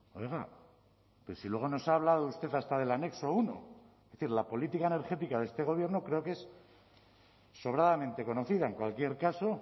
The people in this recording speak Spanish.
oiga pero si luego nos ha hablado usted hasta del anexo uno es decir la política energética de este gobierno creo que es sobradamente conocida en cualquier caso